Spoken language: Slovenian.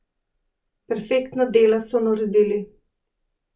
Perfektna dela so naredili.